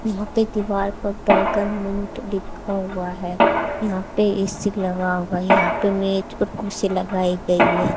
यहां पे दीवार पर बर्गर मोंक लिखा हुआ है यहां पे ए_सी लगा हुआ है यहां पे मेज और कुर्सी लगाई गई है।